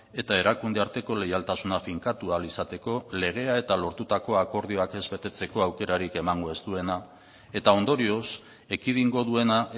eta erakunde arteko leialtasuna finkatua ahal izateko legea eta lortutako akordioak ez betetzeko aukerarik emango ez duena eta ondorioz ekidingo duena